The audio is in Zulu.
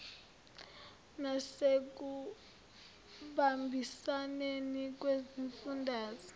nase kubambisaneni kwezifundazwe